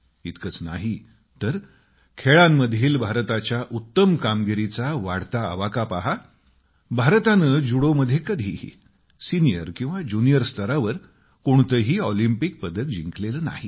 इतकंच नाही तर खेळांमधील भारताच्या उत्तम कामगिरीचा वाढता आवाका पहा भारताने जुडोमध्ये कधीही सिनियर किंवा ज्युनियर स्तरावर कोणतेही ऑलिम्पिक पदक जिंकलेले नाही